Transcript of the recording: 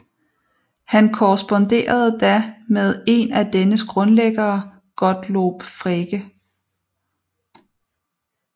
Han korresponderede da med en af dennes grundlæggere Gottlob Frege